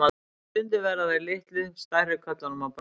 Stundum verða þeir litlu stærri körlum að bráð.